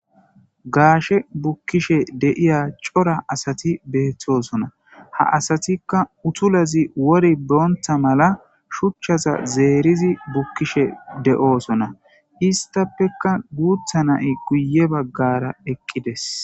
Gaashe bukkishe diza cira asati beetosona. Ha asatika utulazi wora bonta mala shuchchaza zeerizi bukkishe de'osona. Istapeka guutha na'i guye bagara eqqides.